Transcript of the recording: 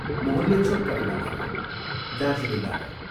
मोहनले छोटकरीमा भन्यो, " दार्जीलिङबाट "।